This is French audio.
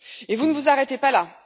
Vous ne vous arrêtez pas là.